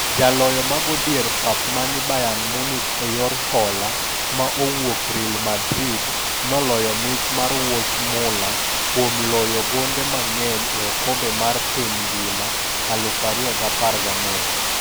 Jaloyo mago dier pap mani Bayern Munich e yor hola ma owuok Real Madrid, noloyo mich mar wuoch mula kuom loyo gonde mang'eny e okombe mar piny ngima 2014.